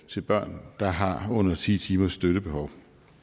til børn der har under ti timers støttebehov